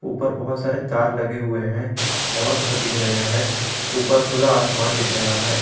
ऊपर बहोत सारे तार लगे हुए हैं और घर दिख रहे हैं ऊपर खुला आसमान दिख रहा है।